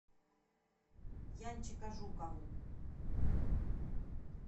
янчика жукову